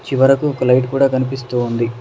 చివరకు ఒక లైట్ కూడా కనిపిస్తూ ఉంది